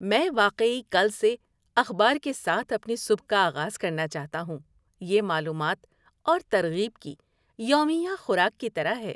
میں واقعی کل سے اخبار کے ساتھ اپنی صبح کا آغاز کرنا چاہتا ہوں۔ یہ معلومات اور ترغیب کی یومیہ خوراک کی طرح ہے۔